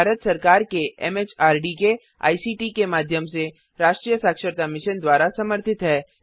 यह भारत सरकार एमएचआरडी के आईसीटी के माध्यम से राष्ट्रीय साक्षरता मिशन द्वारा समर्थित है